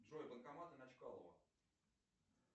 джой банкоматы на чкалова